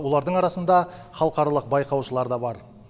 олардың арасында халықаралық байқаушылар да бар